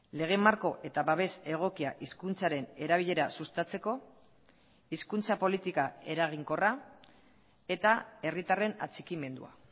lege marko eta babes egokia hizkuntzaren erabilera sustatzeko hizkuntza politika eraginkorra eta herritarren atxikimendua